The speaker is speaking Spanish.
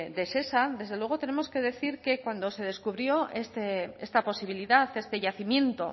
de shesa desde luego tenemos que decir que cuando se descubrió esta posibilidad este yacimiento